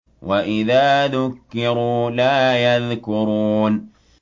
وَإِذَا ذُكِّرُوا لَا يَذْكُرُونَ